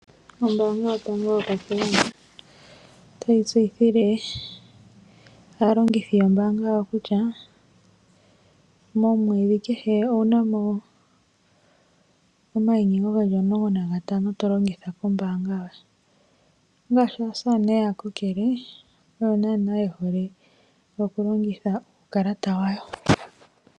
Ombanga yotango yopashigwana otayi tseyithile aalongithi yombaanga yawo kutya momweedhi kehe owuna mo omayinyengo geli omulonga nantano to longitha ombaanga yoye ongaashi aasane yaakokele oyo naana yehole okulongitha uukalata wawo.